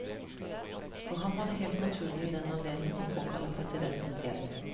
For ham var det helt naturlig i den anledning å påkalle presidentens hjelp.